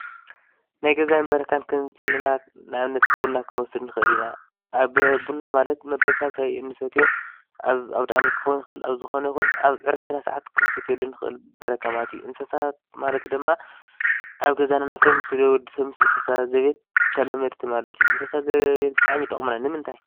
ናይ ገዛን በረካ ን ክንብል እንተለና ንኣብነት፦ ቡና ክንወስድ ንኽእል ኢና። ኣብ ቡና ማለት መበል 3ይ እንሰትዮ ኣብ ኣውዳኣመት ክኾን ይኽእል ኣብ ዝኾነ ክኾን ይኽእል ኣብ ዕረፍትና ሰዓት ክንሰትየሉ ንኽእል በረካ ማለት እዩ። እንስሳት ኣብ ገዛ እነፍርዮም ንወዲሰብ ምስ እንስሳ ዘቤት እነፍርዮም እንስሳ ዘቤት ተላመድቲ ማለት እዩ። እንስሳ ዘቤት ብጣዕሚ እየን ዝጠቅማ ንምታይ?